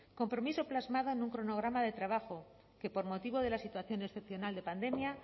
compromiso plasmado en un cronograma de trabajo que por motivo de la situación excepcional de pandemia